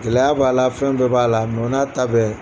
Gɛlɛya b'a la fɛn bɛɛ b'a la o n'a ta bɛɛ